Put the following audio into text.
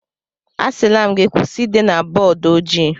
Asịla m gị kwụsị ide na bọọdụ ojii!